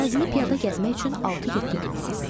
Ərazini piyada gəzmək üçün 6-7 gün lazımdır.